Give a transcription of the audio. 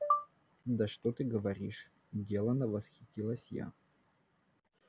да что ты говоришь делано восхитилась я